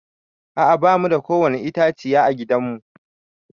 A'a ba mu da kowani itãciya a gidan mu.